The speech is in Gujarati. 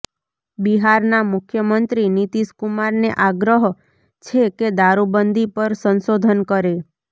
બિહારના મુખ્યમંત્રી નીતિશ કુમારને આગ્રહ છે કે દારુબંધી પર સંશોધન કરે